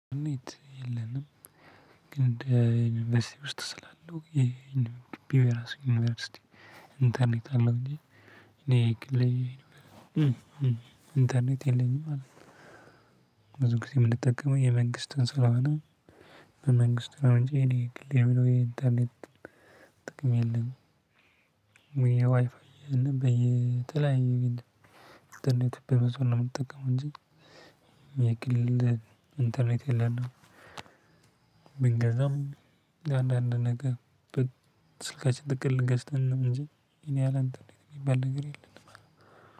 ኔት የለንም ግን እንደ ዩኒቨስቲው ውስጥ ስላለው ይሄ የራሱ ዩኒቨርሲቲ ኢንተርኔት አለው እንጂ እኔ እንተርኔት የለኝም አለ። ብዙ ጊዜ የምንጠቀመው የመንግስትን ስለሆነ በመንግስት አሁን እኔ ግሌ የሚለው የኢንተርኔት ጥቅም የለም። ዋይፋይ በየጥላኛው እንተርኔት በመሰለህ ነው የምትጠቀመው እንጂ የግል እንትን የለንም። ብንገዛም አንዳንድ ነገር ስልካችን ጥቅል ገዝተን ነው እንጂ የኔ ያለ እንዴት የሚባል ነገር የለም።